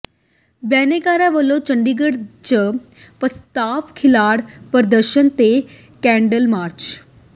ਬਿਨੈਕਾਰਾਂ ਵਲੋਂ ਚੰਡੀਗੜ੍ਹ ਚ ਪ੍ਰਸਤਾਵ ਖਿਲਾਫ਼ ਪ੍ਰਦਰਸ਼ਨ ਤੇ ਕੈਂਡਲ ਮਾਰਚ